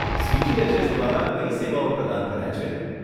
CGHS દ્વારા કઈ સેવાઓ પ્રદાન કરાય છે?